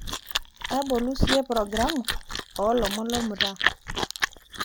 tabolu siiyie programu oo ilomon lolmutaa